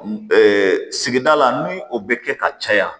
sigida la ni o bɛ kɛ ka caya